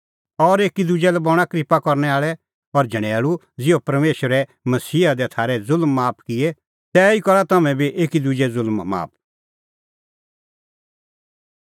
और एकी दुजै लै बणां क्रिप्पा करनै आल़ै और झणैल़ू ज़िहअ परमेशरै मसीहा दी थारै ज़ुल्म माफ किऐ तिहै ई करा तम्हैं बी एकी दुजे ज़ुल्म माफ